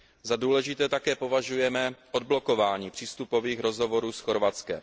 Za důležité také považujeme odblokování přístupových rozhovorů s Chorvatskem.